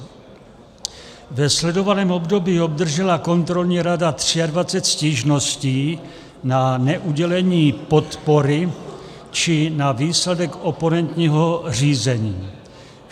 Ve sledovaném období obdržela kontrolní rada 23 stížností na neudělení podpory či na výsledek oponentního řízení.